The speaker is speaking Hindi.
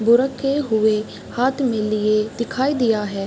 बो रखे हुए हाथ में लिए दिखाई दिया है।